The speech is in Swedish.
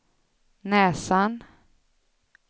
näsan